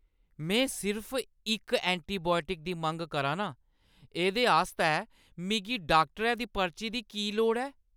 में सिर्फ इक एंटीबायोटिक दी मंग करा नां! एह्दे आस्तै मिगी डाक्टरै दी पर्ची दी की लोड़ ऐ?